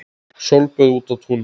Sólböð úti á túni.